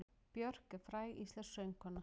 Björk er fræg íslensk söngkona.